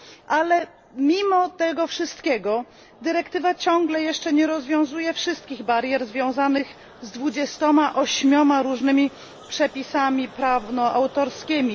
Ale mimo tego wszystkiego dyrektywa ciągle jeszcze nie rozwiązuje wszystkich barier związanych z dwudziestoma ośmioma różnymi przepisami prawno autorskimi.